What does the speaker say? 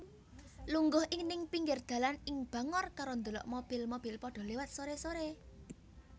Lungguh ning pinggir dalan ing Bangor karo ndelok mobil mobil podho lewat sore sore